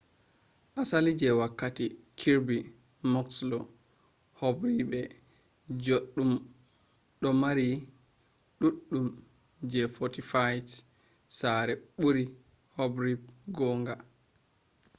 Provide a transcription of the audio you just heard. asali je wokkati kirby muxloe hobribe juddum do mari dudum je fortified sare buri hobribe gonga